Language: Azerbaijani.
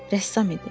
Rəssam idi.